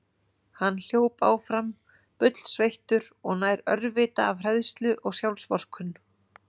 Hann hljóp áfram, bullsveittur og nær örvita af hræðslu og sjálfsvorkunn.